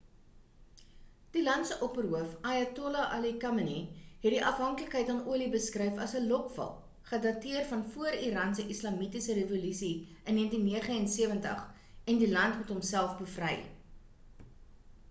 die land se opperhoof ayatollah ali khamenei het die afhanklikheid aan olie beskryf as 'n lokval' gedateer van voor iran se islamitiese revolusie in 1979 en die land moet homself bevry